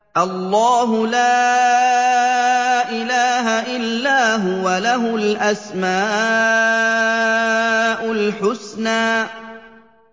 اللَّهُ لَا إِلَٰهَ إِلَّا هُوَ ۖ لَهُ الْأَسْمَاءُ الْحُسْنَىٰ